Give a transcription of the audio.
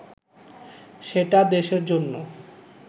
সেটা দেশের জন্য